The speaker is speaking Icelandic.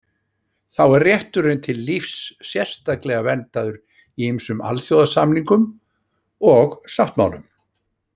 Þá er rétturinn til lífs sérstaklega verndaður í ýmsum alþjóðasamningum og sáttmálum.